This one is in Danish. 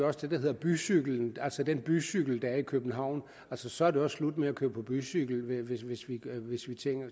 også det der hedder bycyklen altså den bycykel der er i københavn så er det også slut med at køre på bycykel hvis hvis vi